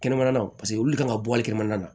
Kɛnɛmana paseke olu le kan ka bɔ a kɛnɛmana na